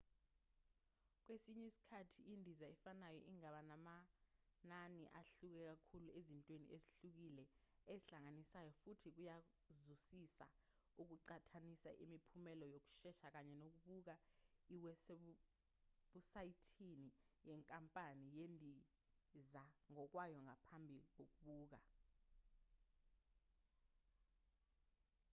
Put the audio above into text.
kwesinye isikhathi indiza efanayo ingaba namanani ahluke kakhulu ezintweni ezihlukile ezihlanganisayo futhi kuyazuzisa ukuqhathanisa imiphumela yokusesha kanye nokubuka iwebhusayithi yenkampani yezindiza ngokwayo ngaphambi kokubhukha